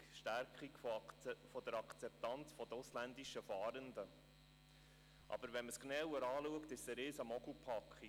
Stärkung der Akzeptanz der ausländischen Fahrenden» Schaut man sie aber genauer an, erweist sie sich als riesige Mogelpackung.